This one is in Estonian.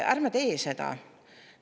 Ärme tee seda!